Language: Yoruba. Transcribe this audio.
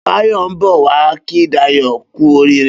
Bayo n bọ wà kí Dayo kù óriré